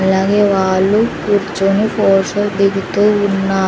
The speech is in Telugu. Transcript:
అలాగే వాళ్ళు కూర్చొని ఫోటో దిగుతూ ఉన్నా--